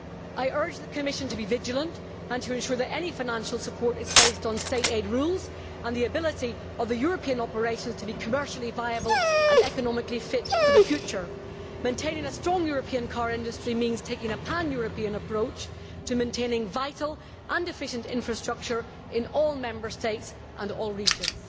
I urge the Commission to be vigilant and to ensure that any financial support is based on State aid rules and the ability of the European operations to be commercially viable and economically fit for the future. Maintaining a strong European car industry means taking a pan European approach to maintaining vital and efficient infrastructure in all Member States and all regions.